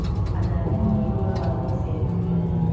அந்த இருமல் வரத்தான் செய்யுது பாத்தின்னா